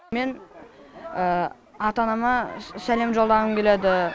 мен ата анама сәлем жолдағым келеді